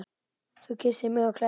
Þú kyssir mig og klæðir.